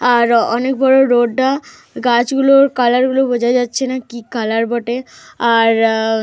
আরো অনেক বড় রোড টা। গাছগুলোর কালার গুলো বোঝা যাচ্ছে না কি কালার বটে। আর।